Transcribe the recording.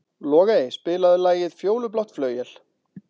Logey, spilaðu lagið „Fjólublátt flauel“.